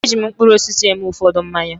E ji mkpụrụ osisi eme ụfọdụ mmanya.